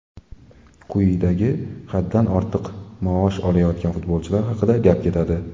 Quyidagi haddan ortiq maosh olayotgan futbolchilar haqida gap ketadi.